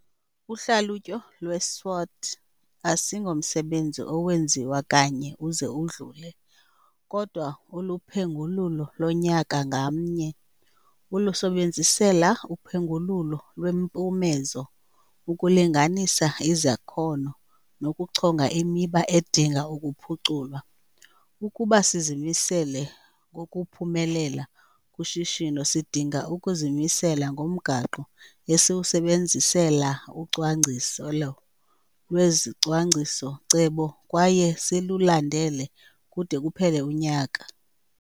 Uhlalutyo lweSWOT asingomsebenzi owenziwa kanye uze udlule kodwa uluphengululo lonyaka ngamnye. ulusebenzisela uphengululo lweempumezo, ukulinganisa izakhono nokuchonga imiba edinga ukuphuculwa. Ukuba sizimisele ngokuphumelela kushishino sidinga ukuzimisela ngomgaqo esiwusebenzisela ucwangciselo lwezicwangciso-cebo kwaye silulandele kude kuphele unyaka.